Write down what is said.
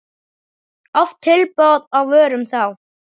Oft tilboð, á vörum þá.